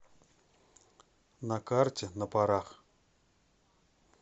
на карте на парах